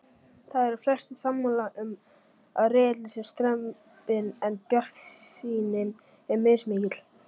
Það eru flestir sammála um að riðillinn sé strembinn en bjartsýnin er mismikil.